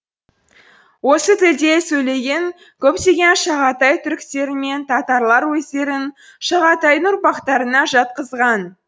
осы тілде сөйлеген көптеген шағатай түріктері мен татарлар өздерін шағатайдың ұрпақтарына жатқызған